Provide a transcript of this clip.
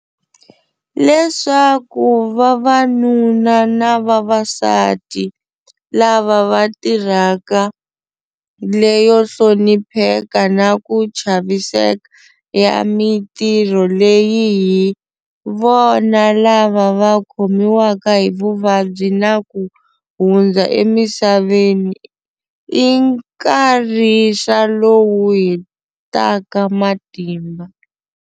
Leswaku vavanuna na vavasati lava va tirhaka leyo hlonipheka na ku chaviseka ya mitirho leyi hi vona lava va khomiwaka hi vuvabyi na ku hundza emisaveni i nkharisa lowu hetaka matimba.